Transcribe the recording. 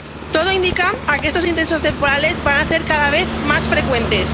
Todo indica que estos intensos temporales van a ser cada vez más frecuentes.